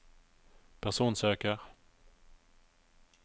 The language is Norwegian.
personsøker